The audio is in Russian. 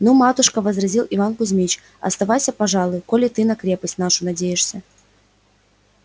ну матушка возразил иван кузмич оставайся пожалуй коли ты на крепость нашу надеешься